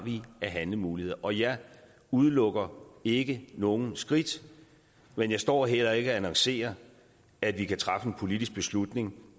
af handlemuligheder og jeg udelukker ikke nogen skridt men jeg står heller ikke og annoncerer at vi kan træffe en politisk beslutning